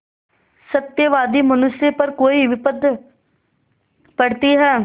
सत्यवादी मनुष्य पर कोई विपत्त पड़ती हैं